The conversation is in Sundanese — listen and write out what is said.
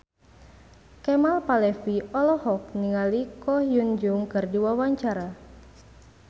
Kemal Palevi olohok ningali Ko Hyun Jung keur diwawancara